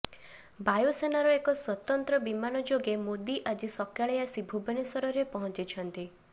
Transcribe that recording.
ବାୟୁସେନାର ଏକ ସ୍ୱତନ୍ତ୍ର ବିମାନ ଯୋଗେ ମୋଦି ଆଜି ସକାଳେ ଆସି ଭୁବନେଶ୍ୱରରେ ପହଞ୍ଚିଛନ୍ତି